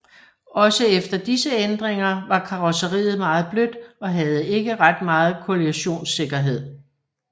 Også efter disse ændringer var karrosseriet meget blødt og havde ikke ret meget kollisionssikkerhed